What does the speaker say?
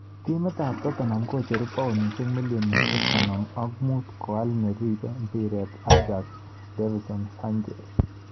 Timit ab Tottenham kocheru paunishek milionishek konom ak mut koal neribei mpiret Ajax Dvinson Sanchez.